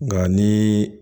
Nka ni